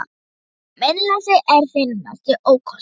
GRÍMUR: Meinleysið er þinn mesti ókostur.